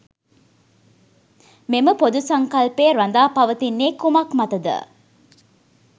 මෙම පොදු සංකල්පය රඳා පවතින්නේ කුමක් මත ද?